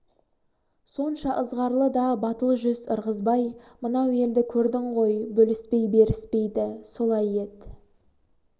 сонша ызғарлы да батыл жүз ырғызбай мынау елді көрдің ғой бөліспей беріспейді солай ет